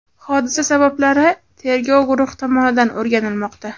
Hodisa sabablari tergov guruhi tomonidan o‘rganilmoqda.